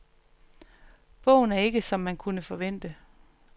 Bogen er ikke, som man kunne forvente.